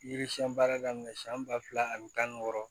Yiri siɲɛn baara daminɛ siyɛn ba fila ani tan ni wɔɔrɔ